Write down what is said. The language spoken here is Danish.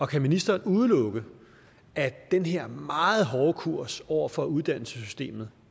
kan ministeren udelukke at den her meget hårde kurs over for uddannelsessystemet